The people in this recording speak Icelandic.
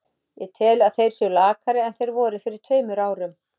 Ég tel að þeir séu lakari en þeir voru fyrir tveimur árum.